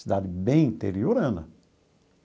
Cidade bem interiorana.